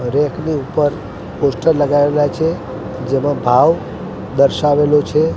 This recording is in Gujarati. રેક ની ઉપર પોસ્ટર લગાવેલા છે જેમા ભાવ દર્શાવેલો છે.